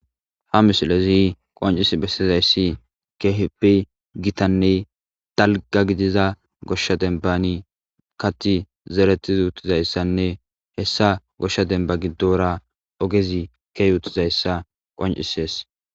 ha misilezi qoncis bessizayssi keheppi gitanne dalga gidiza goshsha dembani kathi zeretiz utizayssanne hessa goshsha demba giddora ogezi keyutizayssa qoncisees